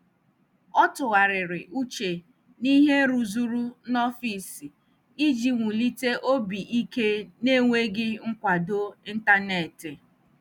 Ọ tụgharịrị uche na ihe rụzuru n'ọfịs iji wulite obi ike n'enweghị nkwado ntanetị.